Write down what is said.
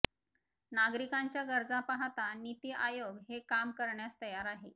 नागरिकांच्या गरजा पाहता नीति आयोग हे काम करण्यास तयार आहे